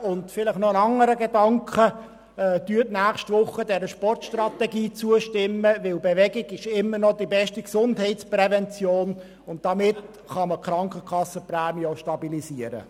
Und noch ein anderer Gedanke: Stimmen Sie nächste Woche der Sportstrategie zu, denn Bewegung ist immer noch die beste Gesundheitsprävention, und damit kann man die Krankenkassenprämien auch stabilisieren.